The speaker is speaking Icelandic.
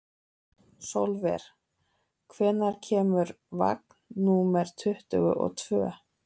Sólver, hvenær kemur vagn númer tuttugu og tvö?